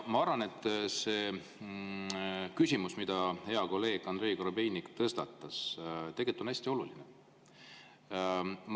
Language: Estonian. Ma arvan, et see küsimus, mille hea kolleeg Andrei Korobeinik tõstatas, on hästi oluline.